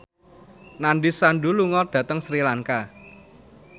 Nandish Sandhu lunga dhateng Sri Lanka